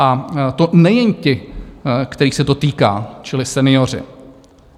A to nejen ti, kterých se to týká, čili senioři.